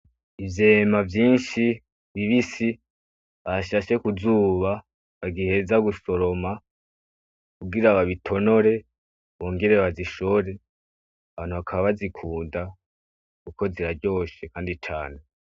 Ivyema vyinshi bibisi bashashe kuzuba bagiheza gusoroma kugira babitonore bongere bazishore, abantu bakaba bazikunda kuko ziraryoshe kandi cane.